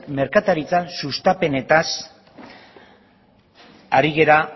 merkataritzaren sustapenaz ari gara